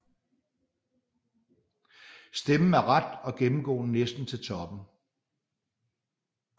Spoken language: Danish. Stammen er ret og gennemgående næsten til toppen